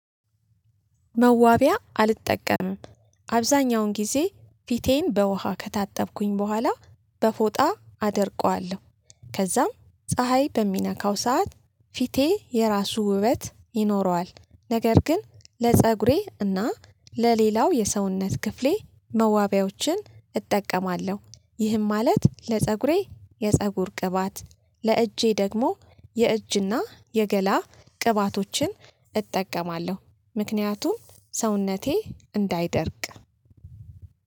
መዋቢያ አልጠቀምም አብዛኛውን ጊዜ ፊቴን በውሃ ከታጠብኩኝ በኋላ በፎጣ አደርቀዋለሁ ከዛም ፀሀይ በሚነካው ሰዓት ፊቴ የራሱ ውበት ይኖረዋል። ነገር ግን ለፀጉሬ እና ለሌላው የሰውነት ክፍሌ መዋቢያዎችን እጠቀማለሁ። ይህም ማለት ለፀጉሬ የፀጉር ቅባት ለእጄ ደግሞ የእጅና የገላ ቅባቶችን እጠቀማለሁ። ምክንያቱም ሰውነቴ እንዳይደርቅ